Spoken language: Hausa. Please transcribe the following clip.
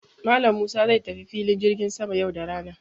Malam Musa zai tafi filin jirgin sama yau da rana.